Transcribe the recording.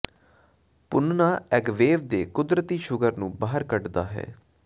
ਭੁੰਨਣਾ agave ਦੇ ਕੁਦਰਤੀ sugar ਨੂੰ ਬਾਹਰ ਕੱਢਦਾ ਹੈ